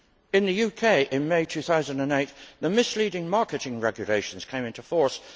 In the UK in May 2008, the Misleading Marketing Regulations came into force.